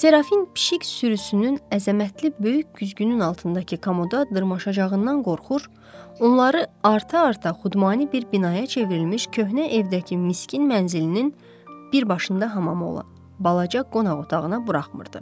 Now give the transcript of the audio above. Serafin pişik sürüsünün əzəmətli böyük güzgünün altındakı komoda dırmaşacağından qorxur, onları arta-arta xudmani bir binaya çevrilmiş köhnə evdəki miskin mənzilinin bir başında hamamı olan balaca qonaq otağına buraxmırdı.